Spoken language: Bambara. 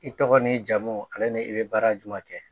I tɔgɔ ni jamu ale ni i bɛ baara jumɛn kɛ?